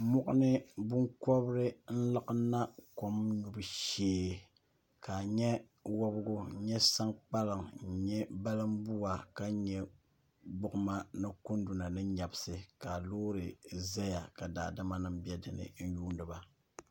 moɣani binkobiri n laɣam na kom nyubu shee ka a nyɛ wobigi n nyɛ sankpaliŋ n nyɛ balinbuwa ka nyɛ gbuɣuma ni kunduna ni nyɛbisi ka loori ʒɛya ka daadama nim bɛ dinni n yuundiba